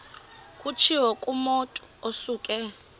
kutshiwo kumotu osuke